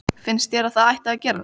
Finnst þér að það ætti að gerast?